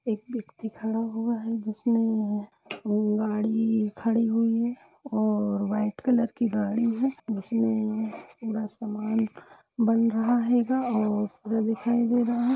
एक व्यक्ति खड़ा हुआ है | जिसमें यह गाड़ी खड़ी हुई है और वाईट कलर कि गाड़ी है उसी में पूरा सामान बन रहा है गा और वायर दिखाई दे रहा है।